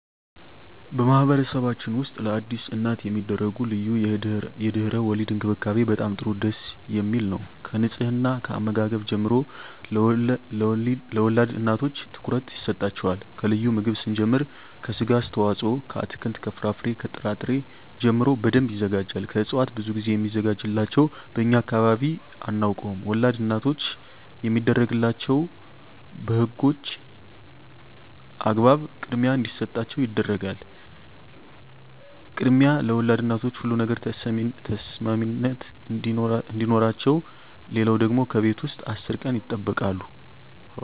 በማህበረሰብችን ውስጥ ለአዲስ እናት የሚደረጉ ልዩ የድህረ _ወሊድ እንክብካቤ በጣም ጥሩ ደስ የሚል ነው ከንጽሕና ከአመጋገብ ጀምሮ ለወልድ እናቶች ትኩረት ይሰጣቸዋል ከልዩ ምግብ ስንጀምር ከስጋ አስተዋጽኦ ከአትክልት ከፍራፍሬ ከጥራ ጥሪ ጀምሮ በደንብ ይዘጋጃል ከእጽዋት ብዙ ግዜ ሚዘጋጅላቸው በእኛ አካባቢ አናውቀውም ወላድ እናቶች የሚደረግላቸው በህጎች በህግ አግባብ ክድሚያ እንዲሰጣቸው ይደረጋል ክድሚያ ለወልድ እናቶች ሁሉ ነገር ተሰሚነት አዲኖረቸው ሌለው ደግሞ ከቤት ውስጥ አስር ቀን ይጠበቃሉ